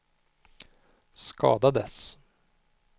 skadades